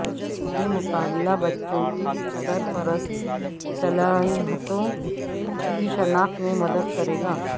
یہ مقابلہ بچوں کی سرپرست صلاحیتوں کی شناخت میں مدد کرے گا